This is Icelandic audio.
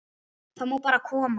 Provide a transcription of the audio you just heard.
Það má bara koma.